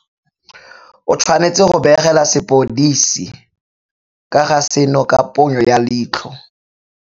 O tshwanetse go begela sepodisi ka ga seno ka ponyo ya leitlho.